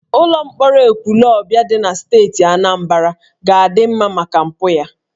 Ụlọ mkpọrọ Ekwulọbịa dị na steeti Anambra ga-adị mma maka mpụ ya